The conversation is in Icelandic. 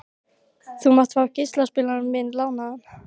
Þú mátt fá geislaspilarann minn lánaðan.